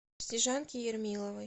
снежанки ермиловой